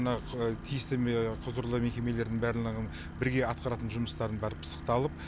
мына тиісті құзырлы мекемелердің бәрлығының бірге атқаратын жұмыстарын бары пысықталып